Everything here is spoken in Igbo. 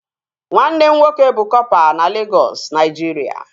Nwanne m nwoke bụ kọpa na Legọs, Naijiria